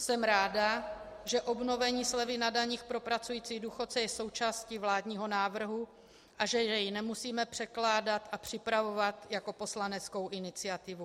Jsem ráda, že obnovení slevy na dani pro pracující důchodce je součástí vládního návrhu a že je nemusíme předkládat a připravovat jako poslaneckou iniciativu.